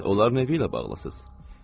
Siz onların evi ilə bağlısınız.